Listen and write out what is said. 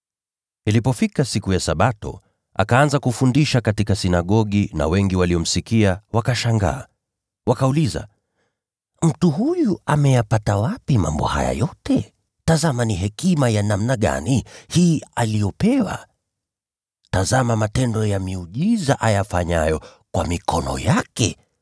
Ilipofika siku ya Sabato, akaanza kufundisha katika sinagogi, na wengi waliomsikia wakashangaa. Nao wakauliza, “Mtu huyu ameyapata wapi mambo haya yote? Tazama ni hekima ya namna gani hii aliyopewa? Tazama matendo ya miujiza ayafanyayo kwa mikono yake!